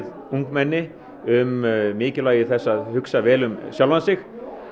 ungmenni um mikilvægi þess að hugsa vel um sjálfan sig